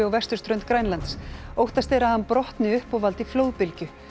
á vesturströnd Grænlands óttast er að hann brotni upp og valdi flóðbylgju